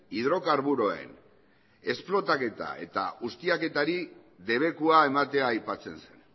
hidrokarburoen esplotaketa eta ustiaketari debekua ematen aipatzen zen